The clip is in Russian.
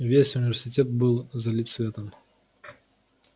весь университет был залит светом